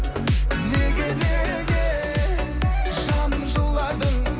неге неге жаным жыладың